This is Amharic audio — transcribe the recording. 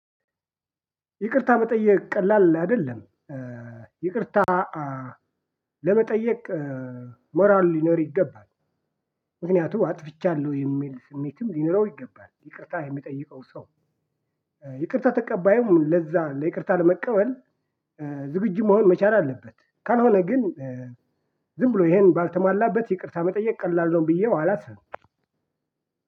ይቅርታ መጠየቅ ቀላል አይደለም። ይቅርታ ለመጠየቅ ሞራል ሊኖር ይገባል። ምክንያቱም አጥፍቻለሁ የሚል ስሜትም ሊኖረው ይገባል ይቅርታ የሚጠይቀው ሰው። ይቅርታ ተቀባይም ለዛ ለይቅርታ ለመቀበል ዝግጁ መሆን መቻል አለበት። ካልሆነ ግን ዝም ብሎ ይሄን ባልተሟላበት ይቅርታ መጠየቅ ቀላል ነው። ብዬው አላስብም።